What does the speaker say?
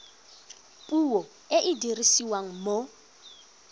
puo e e dirisiwang mo